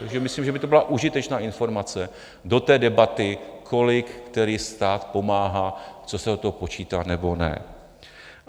Takže myslím, že by to byla užitečná informace do té debaty, kolik který stát pomáhá, co se od toho počítá nebo ne.